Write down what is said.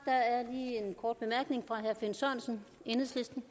går ind